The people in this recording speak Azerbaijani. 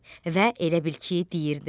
Və elə bil ki, deyirdi: